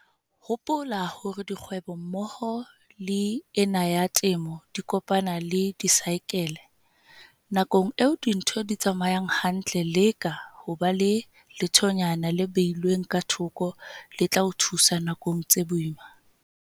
Hopola hore dikgwebo mmoho le ena ya temo di kopana le disaekele. Nakong eo dintho di tsamayang hantle leka ho ba le lethonyana le behilweng ka thoko le tla o thusa nakong tse boima.